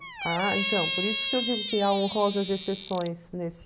Ah, então, por isso que eu digo que há honrosas exceções nesse...